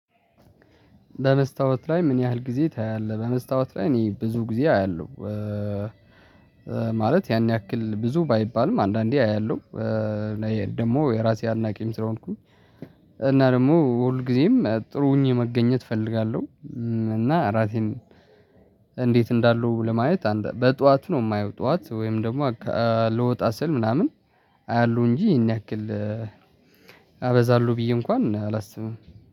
በመስታወት ላይ ምን ያህል ጊዜ ታያለህ? በመስታወት ላይ እኔ ብዙ ጊዜ አያለሁ። ማለት ያን ያክል ብዙ ባይባልም አንዳንዴ አያለሁ። ደግሞ የራሴ አድናቂም ስለሆንኩኝ እና ደግሞ ሁል ጊዜም ጥሩ ሁኘ መገኘት እፈልጋለሁ። እና ራሴን እንዴት እንዳሉ ለማየት በጧት ነው የማየው ጧት ወይም ደግሞ ልወጣ ስል ምናምን አያሉ እንጂ ይሄን ያክል አበዛሉ ብዬ እንኳን አላስብም